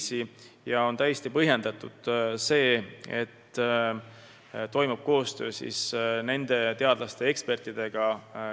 Seega on täiesti põhjendatud, et toimub koostöö teiste riikide teadlaste ja ekspertidega.